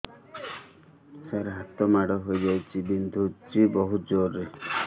ସାର ହାତ ମାଡ଼ ହେଇଯାଇଛି ବିନ୍ଧୁଛି ବହୁତ ଜୋରରେ